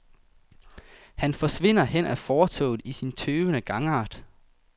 Han forsvinder hen ad fortovet i sin tøvende gangart.